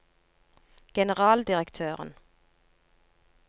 generaldirektøren